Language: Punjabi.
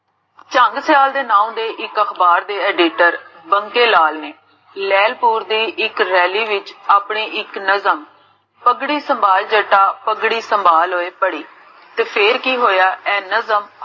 ਚੰਨ ਸਿਆਲ ਦੇ ਨਾਮ ਦੇ ਇਕ ਅਖਬਾਰ ਦੇ editor ਮੰਗੇ ਲਾਲ ਨੇ ਲੇਹ੍ਲਪੁਰ ਦੇ ਇਕ ਰੈਲੀ ਵਿਚ ਆਪਣੇ ਇਕ ਨਜ਼ਰ ਪਗੜੀ ਸੰਬਾਲ ਜੱਟਾ ਪਗੜੀ ਸਮ੍ਬਾਲ